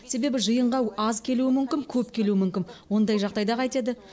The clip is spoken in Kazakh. себебі жиынға аз келуі мүмкін көп келуі мүмкін ондай жағдайда қайтеді